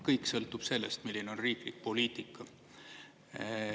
Kõik sõltub sellest, milline on riiklik poliitika.